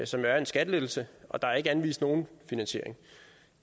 som jo er en skattelettelse og der er ikke anvist nogen finansiering